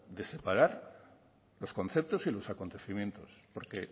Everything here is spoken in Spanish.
de separar los conceptos y los acontecimientos porque